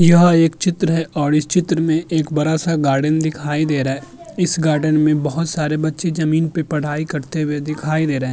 यह एक चित्र है और इस चित्र में एक बरा-सा गार्डन दिखाई दे रहा है। इस गार्डन में बोहोत सारे बच्चे जमीन पे पढ़ाई करते हुए दिखाई दे रहे --